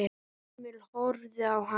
Emil horfði á hann.